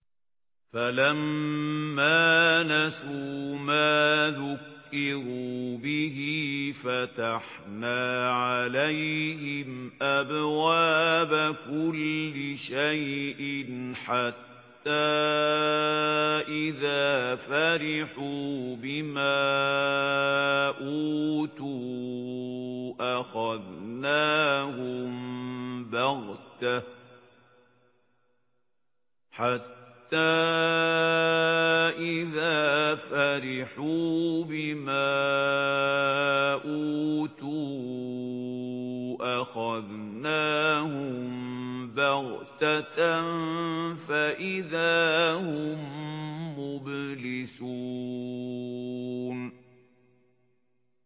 فَلَمَّا نَسُوا مَا ذُكِّرُوا بِهِ فَتَحْنَا عَلَيْهِمْ أَبْوَابَ كُلِّ شَيْءٍ حَتَّىٰ إِذَا فَرِحُوا بِمَا أُوتُوا أَخَذْنَاهُم بَغْتَةً فَإِذَا هُم مُّبْلِسُونَ